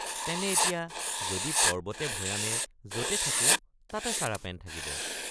তেনে এতিয়া যদি পৰ্ব্বতে ভৈয়ামে যতে থাকো তাতে চাৰাপেন থাকিব।